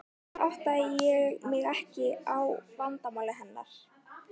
Fyrr áttaði ég mig ekki á vandamáli hennar.